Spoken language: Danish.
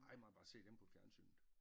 Ej man bare se det inde på fjernsynet